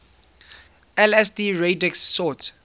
lsd radix sort